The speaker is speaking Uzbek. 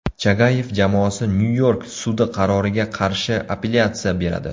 Chagayev jamoasi Nyu-York sudi qaroriga qarshi apellyatsiya beradi.